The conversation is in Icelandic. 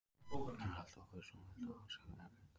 Það er alltaf ávísun á að valda andstæðingunum erfiðleikum.